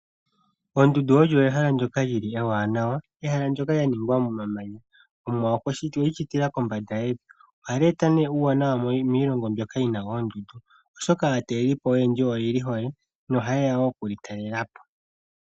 Ondundu olyo ehala ndyoka lili ewaanawa, ehala ndyoka lyaningwa momamanya. Omuwa okweli shitila kombanda yevi ohali eta uuwanawa miilongo mbyoka yina oondundu oshoka aatalelipo oyendji oyeli hole nohayeya wo okuli talelapo.